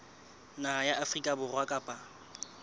naha ya afrika borwa kapa